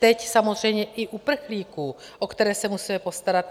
Teď samozřejmě i uprchlíků, o které se musíme postarat.